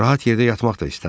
Rahat yerdə yatmaq da istəmirdi.